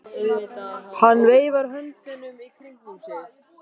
Hann veifar höndunum í kringum sig.